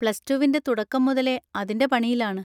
Plus റ്റുവിൻ്റെ തുടക്കം മുതലേ അതിൻ്റെ പണിയിലാണ്.